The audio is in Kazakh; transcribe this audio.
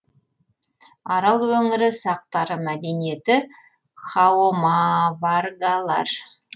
арал өңірі сақтары мәдениеті хаома варгалар